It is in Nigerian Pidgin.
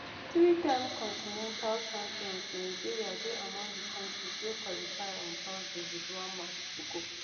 threetime continental champions nigeria dey among di kontris wey qualify on thursday wit one match to go